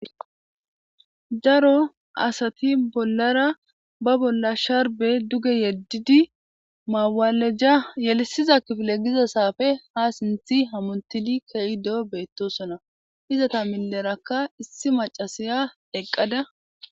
Daro asati bolara ba bola sharbe duge yedidi mawaleja yelisiza kifile giza xafe ha simisidi hamutidi ke'ido betosona izeta gidoraka issi mac'asiya eqada.